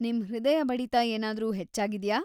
ನಿಮ್ ಹೃದಯ ಬಡಿತ ಏನಾದ್ರೂ ಹೆಚ್ಚಾಗಿದ್ಯಾ?